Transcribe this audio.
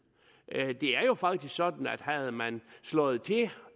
det er jo faktisk sådan at havde man slået til